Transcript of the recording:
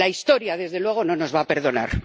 La historia, desde luego, no nos va a perdonar.